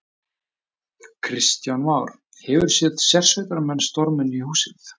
Kristján Már: Hefurðu séð sérsveitarmenn storma inn í húsið?